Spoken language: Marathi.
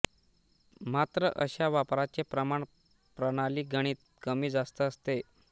मात्र अशा वापराचे प्रमाण प्रणालीगणिक कमी जास्त असते